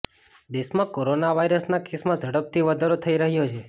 દેશમાં કોરોના વાયરસના કેસમાં ઝડપથી વધારો થઈ રહ્યો છે